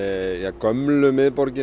gömlu miðborgin